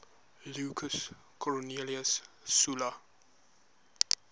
lucius cornelius sulla